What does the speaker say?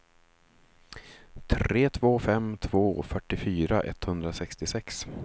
tre två fem två fyrtiofyra etthundrasextiosex